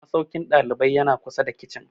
Masaukin ɗalibai ya na kusa da kicin